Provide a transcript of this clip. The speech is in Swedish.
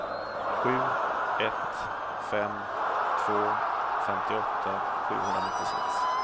sju ett fem två femtioåtta sjuhundranittiosex